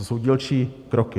To jsou dílčí kroky.